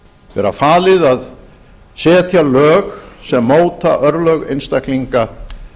vera falið að setja lög sem móta örlög einstaklinga